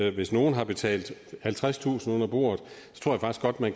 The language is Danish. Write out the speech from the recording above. at hvis nogle har betalt halvtredstusind kroner under bordet